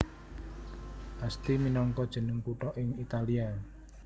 Asti minangka jeneng kutha ing Italia